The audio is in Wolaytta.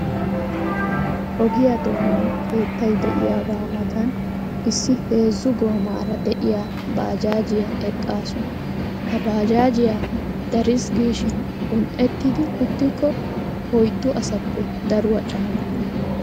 Ogiya doonan keettay de'iyagaa matan issi heezzu goomaara de'iya baajaajiya eqqaasu. Ha baajaajiya dariis giishin un"ettidi uttikko oyddu asaappe daruwa caanukku.